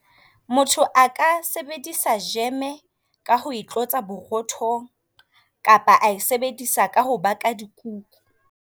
Motho aka sebedisa jeme ka ho etlotsa borothong kapa ae sebedisa ka ho baka dikuku.